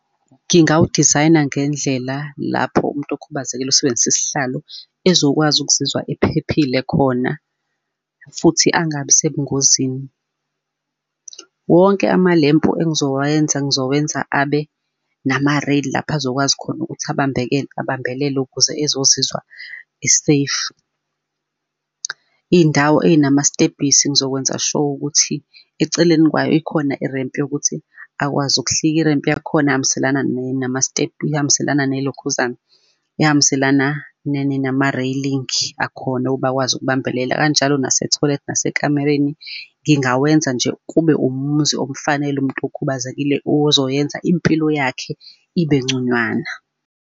Ngingawudizayina ngendlela lapho umuntu okhubazekile osebenzise isihlalo, ezokwazi ukuzizwa ephephile khona, futhi angabi sebungozini. Wonke amalempu engizowenza, ngizowenza abe nama-rail lapha azokwazi khona ukuthi ubambelele ukuze ezozizwa e-safe. Iy'ndawo ey'namastebhisi, ngizokwenza sure ukuthi eceleni kwayo ikhona i-ramp yokuthi akwazi ukuhlika. I-ramp yakhona ihambiselana nama step, ihambiselana nelokhuzane, ehambiselana nama-railing akhona ukuba akwazi ukubambelela, kanjalo nasetoilet, nasekamereni. Ngingawenza nje kube umuzi omfanele umuntu okhubazekile ozoyenza impilo yakhe ibe nconywana.